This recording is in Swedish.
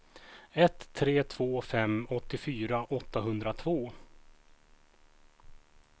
ett tre två fem åttiofyra åttahundratvå